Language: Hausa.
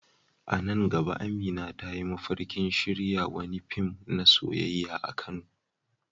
A nan gaba Amina ta yi mafarkin shirya wani fim na soyayya a Kano.